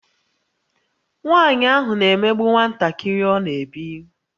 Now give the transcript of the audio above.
Nwanyị ahụ na-emegbu nwantakịrị ọ na-ebi